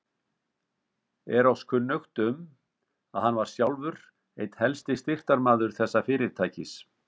Er oss kunnugt, um, að hann var sjálfur einn helsti styrktarmaður þessa fyrirtækis.